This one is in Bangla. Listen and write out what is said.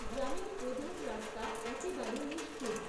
গ্রামের প্রধান রাস্তা একেবারে নিশ্চুপ।